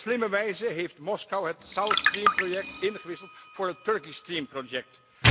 Op slimme wijze heeft Moskou het South Stream Project ingewisseld voor het Turkish Stream Project.